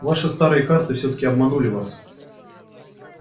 ваши старые карты всё-таки обманули вас